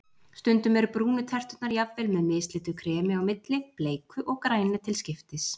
Stundum eru brúnu terturnar jafnvel með mislitu kremi á milli, bleiku og grænu til skiptis.